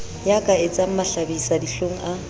ya ka etsang mahlabisadihlong a